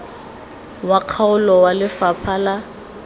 wa kgaolo wa lefapha la